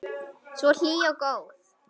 Svo hlý og góð.